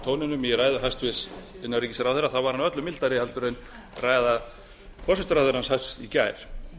tóninum í ræðu hæstvirts innanríkisráðherra var hún öllu mildari heldur en ræða forsætisráðherra hæstvirtur í gær